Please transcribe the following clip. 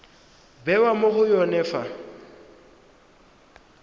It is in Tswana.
bewa mo go yone fa